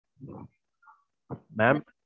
mam.